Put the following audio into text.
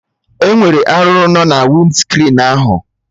Enwere arụrụ no na winscrin ahụ